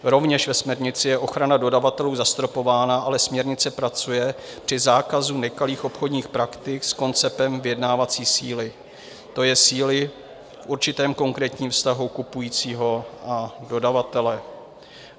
Rovněž ve směrnici je ochrana dodavatelů zastropována, ale směrnice pracuje při zákazu nekalých obchodních praktik s konceptem vyjednávací síly, to je síly v určitém konkrétním vztahu kupujícího a dodavatele.